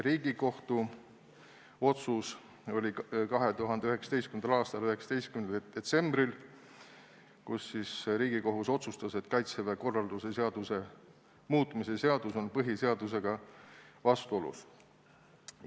Riigikohus otsustas 2019. aastal 19. detsembril, et Kaitseväe korralduse seaduse muutmise seadus on põhiseadusega vastuolus.